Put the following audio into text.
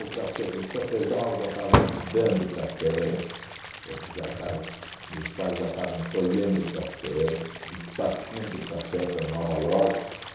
O cafe o cafezal já estava dando café, entende? Já estava. Meus pais já estavam colhendo café, despachando café para Nova Iorque.